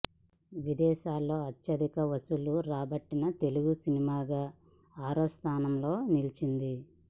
విదేశాల్లో అత్యధిక వసూళ్లు రాబట్టిన తెలుగు సినిమాగా ఆరో స్థానంలో నిలిచింది